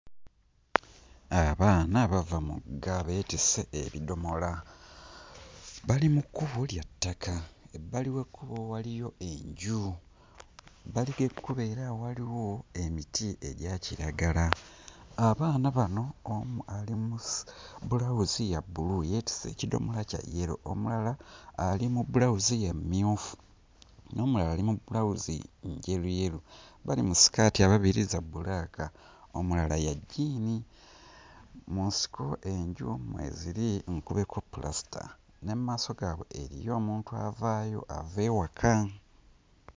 Abaana bava mugga, beetisse ebidomola. Bali mu kkubo lya ttaka, ebbali w'ekkubo waliyo enju, ebbbali g'ekkubo era waliwo emiti egya kiragala. Abaana bano omu ali mu bulawuzi ya bbulu, yeetisse ekidomola kya yero, omulala ali mu bulawuzi ya mmyufu, n'omulala ali mu bulawuzi njeruyeru, bali mu sikaati ababiri za bbulaaka, omulala ya jjiini. Mu nsiko enju mwe ziri nkubeko pulasita ne mu maaso gaabwe eriyo omuntu avaayo ava ewaka.